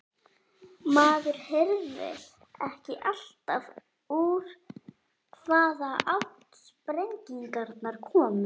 Maður heyrði ekki alltaf úr hvaða átt sprengingarnar komu.